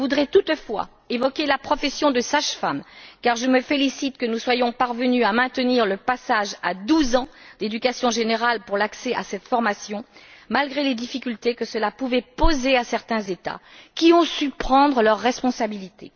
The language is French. Je voudrais toutefois évoquer la profession de sage femme, car je me félicite que nous soyons parvenus à maintenir le passage à douze ans d'éducation générale pour l'accès à cette formation, malgré les difficultés que cela pouvait poser à certains États, qui ont su prendre leurs responsabilités.